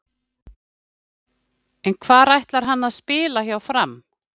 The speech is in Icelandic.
En hvar ætlar hann að spila hjá Fram?